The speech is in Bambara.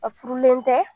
A furulen tɛ